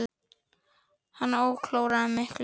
Hann áorkaði miklu.